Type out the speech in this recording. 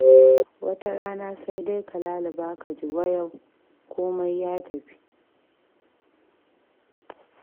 Wata rana sai dai ka laluba ka ji wayau, komai ya tafi.